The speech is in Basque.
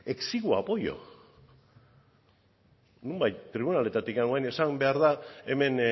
exiguo apoyo nonbait tribunaletatik orain esan behar da hemen